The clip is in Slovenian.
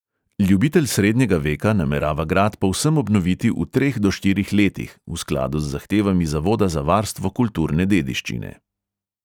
Ljubitelj srednjega veka namerava grad povsem obnoviti v treh do štirih letih, v skladu z zahtevami zavoda za varstvo kulturne dediščine.